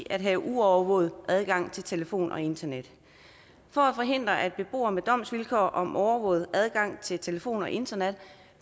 at have uovervåget adgang til telefon og internet for at forhindre at beboere med domsvilkår om overvåget adgang til telefon og internet